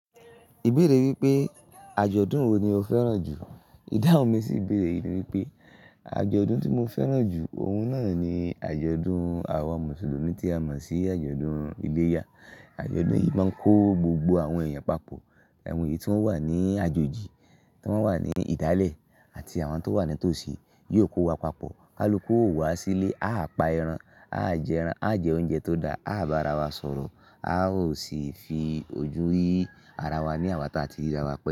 Ibeere wípé àjọ̀dún wo ni o fẹ́ràn jù? Ìdáhun mi sì ibeèrè ni wípé àjọ̀dún tí mo fẹ́ràn jù, òun náà ni àjọ̀dún àwọn Mùsùlùmí tí a mọ̀ sí àjọ̀dún iléyá. Àjọ̀dún yìí máa ń kó gbogbo àwọn èèyàn papọ̀, àwọn ènìyàn tí wọ́n wà ní àjójì, tí wọ́n wà ní ìdálẹ̀ àti àwọn tí wọ́n wà nítòsí yóò kó wa papọ̀. A ló kó wa sílé, a á pa ẹran, a á jẹ ẹran, a á jẹ oúnjẹ tó dáa, a á bá ara wa sọ̀rọ̀, a ó sì fi ojú yí ara wa ní àwa tí a ti ríra wa pẹ́lú.